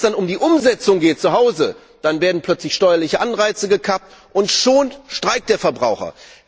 Wenn es dann um die Umsetzung zuhause geht, werden plötzlich steuerliche Anreize gekappt und schon streikt der Verbraucher!